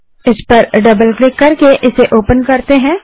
इस पर double click करके इसे ओपन करते हैं